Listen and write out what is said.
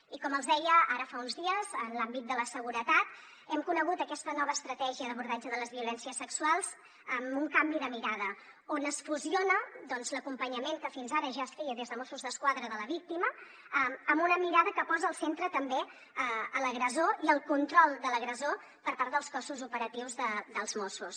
i com els deia ara fa uns dies en l’àmbit de la seguretat hem conegut aquesta nova estratègia d’abordatge de les violències sexuals amb un canvi de mirada on es fusiona doncs l’acompanyament que fins ara ja es feia des de mossos d’esquadra de la víctima amb una mirada que posa al centre també l’agressor i el control de l’agressor per part dels cossos operatius dels mossos